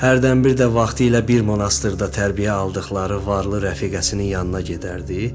Hərdən bir də vaxtilə bir monastırda tərbiyə aldıqları varlı rəfiqəsinin yanına gedərdi.